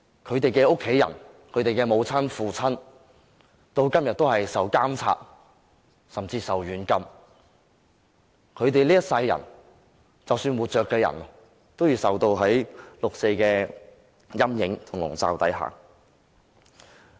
他們的家人和父母到今天仍然受到監控甚至軟禁，而活着的人這一生仍要活在六四的陰影下。